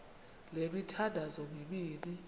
le mithandazo mibini